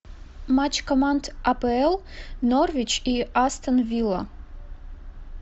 матч команд апл норвич и астон вилла